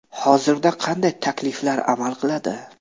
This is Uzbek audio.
Hozirda qanday takliflar amal qiladi?